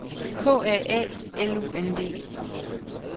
K A A L U N D